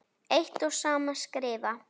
eitt og sama skrifa